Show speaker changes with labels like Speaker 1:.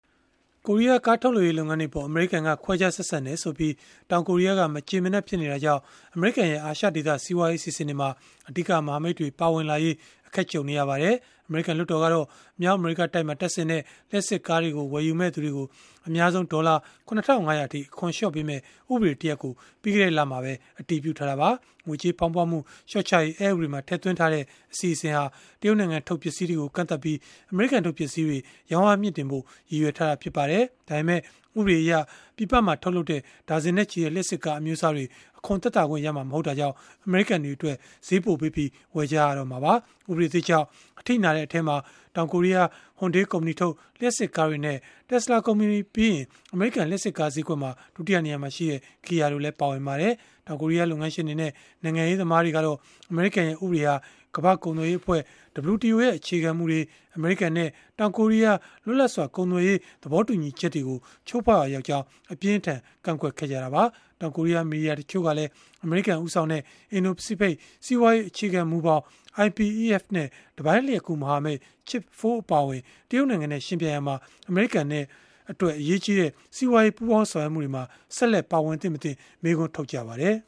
Speaker 1: ကိုရီးယား ကားထုတ်လုပ်ရေး လုပ်ငန်းတွေအပေါ် အမေရိကန်က ခွဲခြားဆက်ဆံတယ်ဆိုပြီး တောင်ကိုရီးယားက မကျေမနပ် ဖြစ်နေတာကြောင့် အမေရိကန်ရဲ့ အာရှဒေသ စီးပွားရေးအစီအစဉ်တွေမှာ အဓိကမဟာမိတ်တွေ ပါဝင်လာရေး အခက်ကြုံနေရပါတယ်။ အမေရိကန် လွှတ်တော်ကတော့ မြောက်အမေရိကတိုက်မှာ တပ်ဆင်တဲ့ လျှပ်စစ်ကားတွေကို ဝယ်ယူမယ့်သူတွေကို အများဆုံး ဒေါ်လာ ၇,၅၀၀ အထိ အခွန်လျှော့ပေးမယ့် ဥပဒေတရပ်ကို ပြီးခဲ့တဲ့လမှာပဲ အတည်ပြုထားတာပါ။ ငွေကြေးဖောင်းပွမှု လျှော့ချရေး အက်ဥပဒေမှာ ထည့်သွင်းထားတဲ့ အစီအစဉ်ဟာ တရုတ်နိုင်ငံထုတ် ပစ္စည်းတွေကို ကန့်သတ်ပြီး အမေရိကန်ထုတ် ပစ္စည်းတွေ ရောင်းအားမြှင့်တင်ဖို့ ရည်ရွယ်ထားတာ ဖြစ်ပါတယ်။ ဒါပေမဲ့ ဥပဒေအရ ပြည်ပမှာ ထုတ်လုပ်တဲ့ ဒါဇင်နဲ့ချီတဲ့ လျှပ်စစ်ကား အမျိုးအစားတွေ အခွန်သက်သာခွင့်ရမှာ မဟုတ်တာကြောင့် အမေရိကန်တွေအတွက် ဈေးပိုပေးပြီး ဝယ်ကြရမှာပါ။ ဥပဒေသစ်ကြောင့် အထိနာတဲ့ အထဲမှာ တောင်ကိုရီးယား Hyundai ကုမ္ပဏီထုတ် လျှပ်စစ်ကားတွေနဲ့ Tesla ကုမ္ပဏီပြီးရင် အမေရိကန် လျှပ်စစ်ကား ဈေးကွက်မှာ ဒုတိယနေရာမှာရှိတဲ့ Kia တို့ ပါဝင်ပါတယ်။ တောင်ကိုရီးယား လုပ်ငန်းရှင်တွေနဲ့ နိုင်ငံရေးသမားတွေကတော့ အမေရိကန်ရဲ့ ဥပဒေဟာ ကမ္ဘာ့ကုန်သွယ်ရေးအဖွဲ့ ရဲ့ အခြေခံမူတွေ၊ အမေရိကန်နဲ့ တောင်ကိုရီးယား လွတ်လပ်စွာ ကုန်သွယ်ရေး သဘောတူညီချက်တွေကို ချိုးဖောက်ရာရောက်ကြောင်း အပြင်းအထန် ကန့်ကွက်ခဲ့ကြတာပါ။ တောင်ကိုရီးယား မီဒီယာ တချို့ကလည်း အမေရိကန်ဦးဆောင်တဲ့ အင်ဒို၊ ပစိဖိတ် စီးပွားရေး အခြေခံမူဘောင် နဲ့ တပိုင်းလျှပ်ကူး မဟာမိတ် Chip 4 အပါအဝင် တရုတ်နိုင်ငံနဲ့ ယှဉ်ပြိုင်ရာမှာ အမေရိကန်အတွက် အရေးကြီးတဲ့ စီးပွားရေး ပူးပေါင်းဆောင်ရွက်မှုတွေမှာ ဆက်လက်ပါဝင်သင့်မသင့် မေးခွန်းထုတ်ကြပါတယ်။